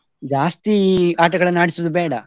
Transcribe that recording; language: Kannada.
ಜಾಸ್ತಿ ಆಟಗಳನ್ನು ಆಡಿಸುದು ಬೇಡ.